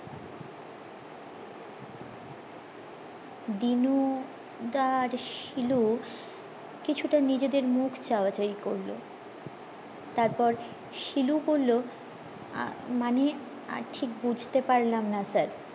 দিনু দা আর শিলু কিছুটা নিজেদের মুখ চাওয়া চায়ি করলো তারপর শিলু বললো মনে ঠিক বুঝতে পারলাম না sir